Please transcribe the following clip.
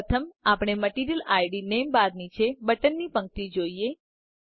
પ્રથમ આપણે material ID name bar નીચે બટન ની પંક્તિ જોઈએ